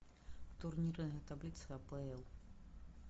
турнирная таблица апл